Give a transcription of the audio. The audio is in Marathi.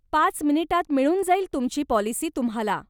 पाच मिनिटात मिळून जाईल तुमची पॉलिसी तुम्हाला.